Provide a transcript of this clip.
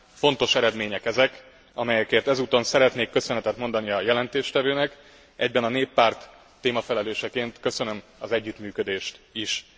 Fontos eredmények ezek, amelyekért ezúton szeretnék köszönetet mondani a jelentéstevőnek, egyben a Néppárt témafelelőseként köszönöm az együttműködést is.